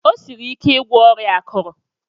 O siri ike igwọ ọrịa akuru.